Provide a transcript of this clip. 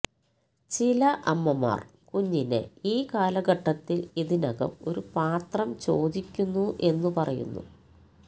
ചില അമ്മമാർ കുഞ്ഞിനെ ഈ കാലഘട്ടത്തിൽ ഇതിനകം ഒരു പാത്രം ചോദിക്കുന്നു എന്നു പറയുന്നു